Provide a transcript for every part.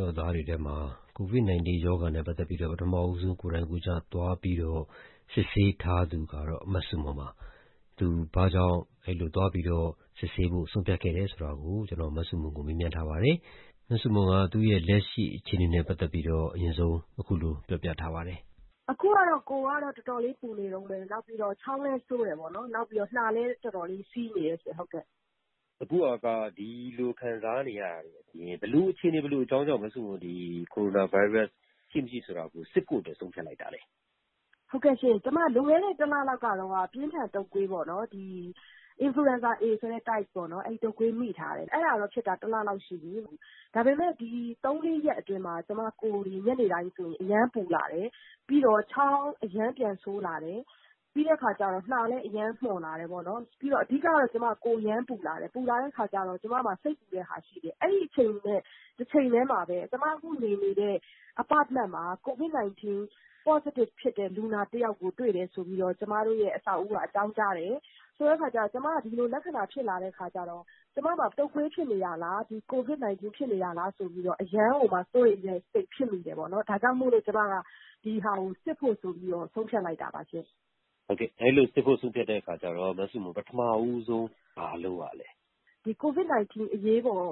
တော်သားတွေထဲမှာ COVID-19 ရောဂါနဲ့ ပတ်သက်ပြီးတော့ ပထမဦးဆုံး ကိုယ်တိုင်ကိုယ်ကျသွားပြီးတော့ စစ်ဆေးထားသူကတော့ မဆုမွန်ပါ။ သူဘာကြောင့် အဲ့လိုသွားပြီးတော့ စစ်ဆေးဖို့ဆုံးဖြတ်ခဲ့သလဲဆိုတာ မဆုမွန်ကို ကိုကျော်ကျော်သိန်းက ဆက်သွယ် မေးမြန်းထားပါတယ်။ မဆုမွန်က သူ့ရဲ့ လက်ရှိအခြေအနေနဲ့ ပတ်သက်ပြီးတော့ အခုလိုအရင်ဆုံး ပြောပြထားပါတယ်။ အခုကတော့ ကိုယ်ကတော့ တော်တော်လေးပူနေတုန်းပဲ။ နောက်ပြီးတော့ ချောင်းလည်းဆိုးတယ်ပေါ့နော်။ နောက်ပြီးတော့ နှာလည်းတော်တော်လည်း စေးနေတယ်ပေါ့နော်... ဟုတ်ကဲ့။ အခုဟာက ဒီလိုခံစားနေရတာတွေအပြင် ဘယ်လိုအခြေအနေ၊ ဘယ်လို အကြောင်းကြောင့် မဆုမွန် ဒီ ကိုရိုနာဗိုင်းရပ်စ် ရှိ၊ မရှိဆိုတာကို စစ်ဖို့အတွက် ဆုံးဖြတ်လိုက်တာလဲ။ ဟုတ်ကဲ့ရှင့်။ ကျမ လွန်ခဲ့တဲ့ တလလောက်ကတုန်းကတော့ ပြင်းထန်တုပ်ကွေးပေါ့ ဒီ Influenza A ဆိုတဲ့ type ပေါ့နော်... အဲ့ဒီ တုပ်ကွေးမိထားတယ်။ အဲ့ဒါတော့ မိထားတာ တလလောက်ရှိပီ။ ဒါပေမဲ့ ဒီ သုံး၊ လေးရက်အတွင်းမှာ ကျမ ကိုယ်တွေ ညနေတိုင်း အရမ်းပူလာတယ်။ ပြီးတော့ ချောင်းအရမ်းပြန်ဆိုးလာတယ်။ ပြီးတဲ့အခါကျတော့ နှာလည်း အရမ်းမွန်လာတယ်ပေါ့နော်။ ပြီးတော့ အဓိကကတော့ ကျမကိုယ်အရမ်းပူလာတယ်။ ပူလာတဲ့အခါကျတော့ ကျမမှာ စိတ်ပူတဲ့ဟာ ရှိတယ်။ အဲ့ဒီအချိန်နဲ့ တချိန်တည်းမှာပဲ ကျမအခုနေနေတဲ့ Apartment မှာ COVID-19 positive ဖြစ်တဲ့ လူနာတယောက်ကို တွေ့တယ်ဆိုပြီးတော့ ကျမတို့ရဲ့ အဆောက်အဦးက အကြောင်းကြားတယ်။ ဆိုတော့ ကျမက ဒီလို လက္ခဏာဖြစ်လာတဲ့အခါကျတော့ ကျမမှာ တုပ်ကွေးဖြစ်နေတာလား၊ COVID-19 ဖြစ်နေတာလားဆိုပြီးတော့ အရမ်းကိုမှ စိုးရိမ်တဲ့စိတ်ဖြစ်မိတယ်ပေါ့နော်။ ဒါကြောင့်မို့လို့ ကျမက ဒီဟာကို စစ်ဖို့ ဆိုပြီးတော့ ဆုံးဖြတ်လိုက်တာပါရှင့်။ ဟုတ်ကဲ့။ အဲ့ဒီလို စစ်ဖို့ ဆုံးဖြတ်တဲ့အခါကျတော့ မဆုမွန် ပထမဦးဆုံး ဘာလုပ်ရလဲ။ ဒီ COVID-19 အရေးပေါ်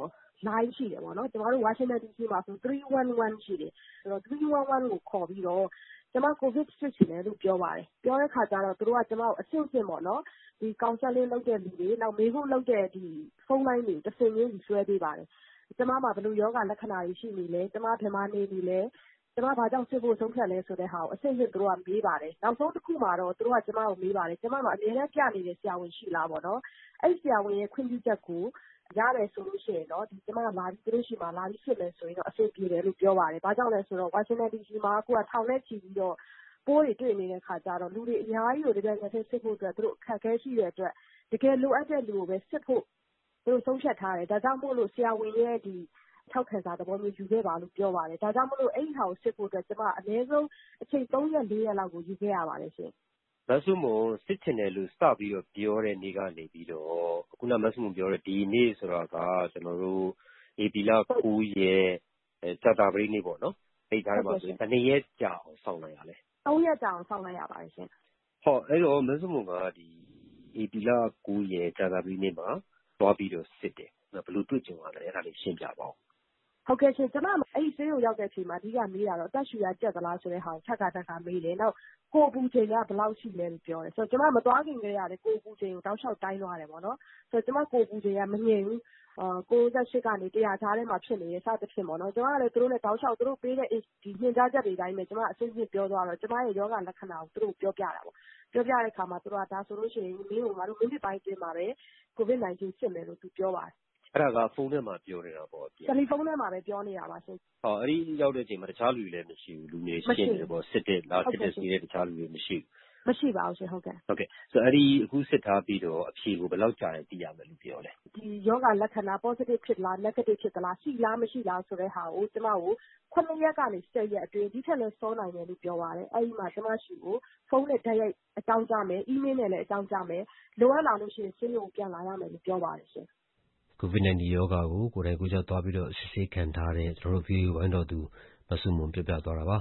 လိုင်းရှိတယ်ပေါ့နော်။ ကျမတို့ ဝါရှင်တန်ဒီစီမှာဆိုရင် 311 ရှိတယ်။ ဆိုတာ့ 311 ကို ခေါ်ပြီးတော့ ကျမ COVID စစ်ချင်တယ်လို့ ပြောပါတယ်။ ပြောတဲ့အခါကျတော့ သူတို့က ကျမကို အဆင့်ဆင့်ပေါ့နော် ဒီ Counseling လုပ်တဲ့သူတွေ နောက်မေးခွန်းလုပ်တဲ့ ဖုန်းလိုင်းတွေကို တဆင့်ပြီးတဆင့် လွဲှပေးပါတယ်။ ကျမမှာ ဘယ်လို ရောဂါလက္ခဏာတွေ ရှိနေလဲ၊ ကျမ ဘယ်မှာနေနေလဲ၊ ကျမ ဘာကြောင့် စစ်ဖို့ ဆုံးဖြတ်သလဲဆိုတာကို သူတို့က အဆင့်ဆင့်မေးပါတယ်။ နောက်ဆုံးတခုမှာတော့ သူတို့က ကျမကို မေးပါတယ်။ ကျမမှာ အမြဲတမ်း ပြနေတဲ့ ဆရာဝန်ရှိလားပေါ့နော်။ အဲ့ဆရာဝန်ရဲ့ ခွင့်ပြုချက်ကို ရတယ်ဆိုလို့ရှိရင်တော့ ကျမက သူတို့ဆီမှာ လာပြီးစစ်မယ်ဆိုလို့ရှိရင်တော့ အဆင်ပြေတယ်လို့ပြောပါတယ်။ ဘာကြောင့်လဲဆိုတော့ ဝါရှင်ဒန်ဒီစီမှာ အခုက ထောင်နဲ့ ချီပြီးတော့ ပိုးတွေ တွေ့နေတဲ့အခါကျတော့ လူတွေအများကြီးကို တပြိုင်နက်ထဲ စစ်ဖို့ သူတို့ အခက်အခဲရှိတဲ့အတွက် တကယ်လိုအပ်တဲ့သူကိုပဲ စစ်ဖို့ သူတို့ ဆုံးဖြတ်ထားတယ်။ ဒါကြောင့်မို့လို့ ဆရာဝန်ရဲ့ ထောက်ခံစာသဘောမျိုး ယူခဲ့ပါလို့ ပြောပါတယ်။ ဒါကြောင့်မို့လို့ အဲ့ဟာကို စစ်ဖို့အတွက် ကျမ အနည်းဆုံး အချိန် သုံးရက်၊ လေးရက်လောက်ကို ယူခဲ့ရပါတယ်ရှင့်။ မဆုမွန် စစ်ချင်တယ်လို့ စပြီးပြောတဲ့နေ့ကနေ စပြီးတော့ ခုဏမဆုမွန်ပြောတဲ့ ဒီနေ့ဆိုတာက ကျနော်တို့ ဧပြီလ ၉ ရက်၊ ကြာသပတေးနေ့ပေါ့နော်။ အဲ့ကြားထဲမှာဆိုရင် ဘယ်နှစ်ရက် ကြာအောင်စောင့်လိုက်ရလဲ။ သုံးရက်ကြာအောင် စောင့်လိုက်ရပါတယ်ရှင့်။ အဲ့ဒီတော့ မဆုမွန်က ဧပြီလ ၉ ရက်၊ ကြာသပတေးနေ့မှာ သွားပြီးတော့ စစ်တယ်။ ဘယ်လိုတွေ့ကြုံရသလဲ... အဲ့ဒါလေး ရှင်းပြပါဦး။ ဟုတ်ကဲ့ရှင့်။ ကျမဆေးရုံရောက်တဲ့ အချိန်မှာ အဓိက မေးတာတော့ အသက်ရှှုရကြပ်သလားဆိုတာကို ထပ်ခါထပ်ခါ မေးတယ်။ ကိုယ်အပူချိန်က ဘယ်လောက်ရှိသလဲလို့ ပြောတယ်။ ကျမ မသွားခင်ထဲကလည်း ကိုယ်အပူချိန်ကို တောက်လျှောက်တိုင်းသွားတယ်ပေါ့နော်။ ဆိုတော့ ကျမကိုယ်အပူချိန်က မငြိမ်ဘူး။ ၉၈ ကနေ ၁၀၀ ကြားထဲမှာ ဖြစ်နေတယ် စသဖြင့်ပေါ့နော်။ ကျမကလည်း သူတို့နဲ့ တောက်လျှောက် သူတို့ပေးတဲ့ ညွှန်ကြားချက်တွေအတိုင်းပဲ ကျမ အဆင့်ဆင့်ပြောသွားတော့ ကျမရဲ့ ရောဂါ လက္ခဏာကို သူတို့ကို ပြောပြတာပေါ့။ ပြောပြတဲ့အခါမှာ သူတို့က ဒါဆိုလို့ရှိရင် မင်းကို ငါတို့ မိနစ်ပိုင်းအတွင်းမှာပဲ COVID-19 စစ်မယ်လို့ ပြောပါတယ်။ အဲ့ဒါက တယ်လီဖုန်းထဲမှာပဲ ပြောနေတာပေါ့။ ဟုတ်ကဲ့။ ဖုန်းထဲမှာပဲ ပြောနေတာပါရှင့်။ အဲ့ဒီရောက်တဲ့အချိန်မှာ တခြားလူတွေလည်း မရှိဘူး၊ လူလည်း ရှင်းတယ်ပေါ့။ လာစစ်တဲ့ အခြားသူတွေ မရှိဘူး။ မရှိပါဘူးရှင်။ ဟုတ်ကဲ့။ ဆိုတော့ အဲ့ဒီ အခုစစ်ထားပြီးတော့ အဖြေကို ဘယ်လောက်ကြာရင် သိရမယ်လို့ ပြောလဲ။ ဒီရောဂါ လက္ခဏာ positive ဖြစ်သလား၊၊ negative ဖြစ်သလား၊ ရှိလား၊ မရှိလားဆိုတဲ့ဟာကို ကျမကို ခုနစ်ရက်ကနေ ဆယ်ရက်အတွင်း ဒီထက်လည်း စောနိုင်တယ်လို့ပြောပါတယ်။ အဲ့ဒီမှာ ဖုန်းနဲ့ တိုက်ရိုက်အကြောင်းကြားမယ်၊ အီးမေးလ်နဲ့လည်း အကြောင်းကြားမယ်။ လိုအပ်လာလို့ရှိရင် ဆေးရုံကို ပြန်လာရမယ်လို့ ပြောပါတယ်ရှင့်။ COVID-19 ရောဂါကို ကိုယ်တိုင်ကိုယ်ကျ သွားပြီးတော့ အစစ်ခံထားတဲ့ ဗွီအိုအေဝိုင်းတော်သူ မဆုမွန်ပြောပြသွားတာပါ